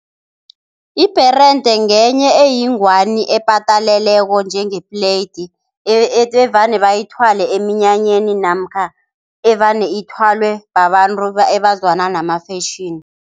Ibherede ngenye eyingwani epataleleko njengepleyidi evane bayithwale eminyanyeni namkha evane ithwalwe babantu ebazwana nama-fashion.